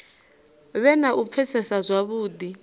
vhe na u pfesesa zwavhudi